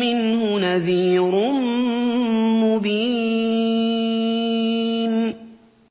مِّنْهُ نَذِيرٌ مُّبِينٌ